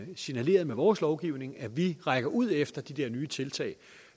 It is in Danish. signaleret med vores lovgivning at vi rækker ud efter de der nye tiltag